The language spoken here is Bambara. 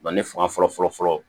ne fanga fɔlɔfɔlɔ